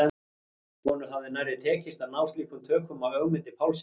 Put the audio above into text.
Honum hafði nærri tekist að ná slíkum tökum á Ögmundi Pálssyni.